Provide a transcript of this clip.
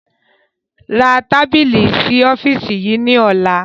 Ra tábìlì sì ọ́fíìsì yìí ni ọ̀la!